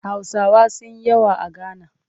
Hausawa sun yi yawa a Gana